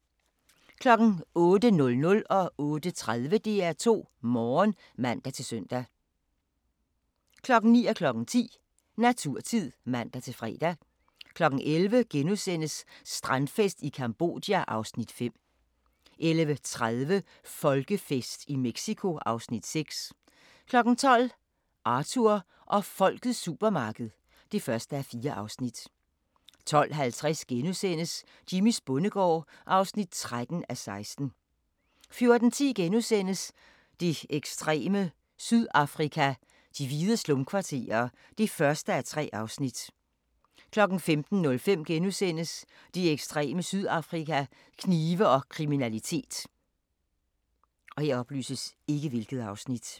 08:00: DR2 Morgen (man-søn) 08:30: DR2 Morgen (man-søn) 09:00: Naturtid (man-fre) 10:00: Naturtid (man-fre) 11:00: Strandfest i Cambodja (Afs. 5)* 11:30: Folkefest i Mexico (Afs. 6) 12:00: Arthur og Folkets supermarked (1:4) 12:50: Jimmys bondegård (13:16)* 14:10: Det ekstreme Sydafrika: De hvide slumkvarterer (1:3)* 15:05: Det ekstreme Sydafrika: Knive og kriminalitet *